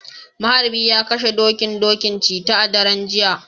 maharbi ya kashe, dokin doki, cheta a daren jiya